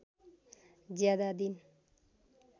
ज्यादा दिन